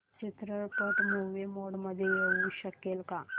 चित्रपट movie mode मध्ये येऊ शकेल का